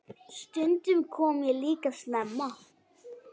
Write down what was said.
Stundum kom ég líka snemma.